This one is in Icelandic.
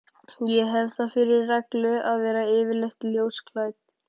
Ég hef það fyrir reglu að vera yfirleitt ljósklædd.